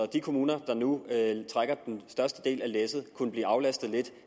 de kommuner der nu trækker den største del af læsset kunne blive aflastet lidt